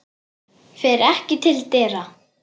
Fer ekki til dyra.